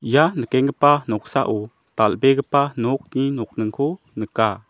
ia nikenggipa noksao dal·begipa nokni nokningko nika.